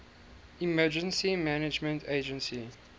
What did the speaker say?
emergency management agency